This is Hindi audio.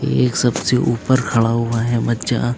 एक सबसे ऊपर खड़ा हुआ है बच्चा--